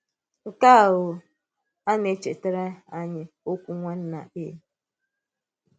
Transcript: Nke um à nà-èchétàrà anyị ọ̀kwù Nwànnà A.